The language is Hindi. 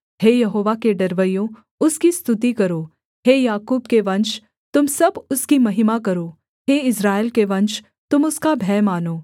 हे यहोवा के डरवैयों उसकी स्तुति करो हे याकूब के वंश तुम सब उसकी महिमा करो हे इस्राएल के वंश तुम उसका भय मानो